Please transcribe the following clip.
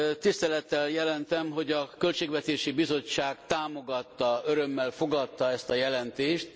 Tisztelettel jelentem, hogy a Költségvetési Bizottság támogatta, örömmel fogadta ezt a jelentést.